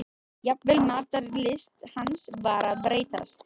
Jafnvel matarlyst hans var að breytast.